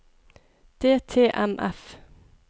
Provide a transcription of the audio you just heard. DTMF